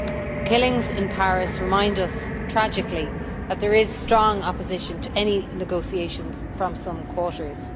The killings in Paris remind us tragically that there is strong opposition to any negotiations from some quarters.